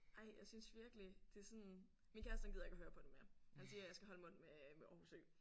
Ej jeg synes virkelig det er sådan min kæreste han gider ikke at høre på det mere. Han siger jeg skal holde mund med med Aarhus Ø